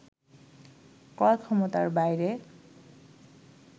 ক্রয় ক্ষমতার বাইরে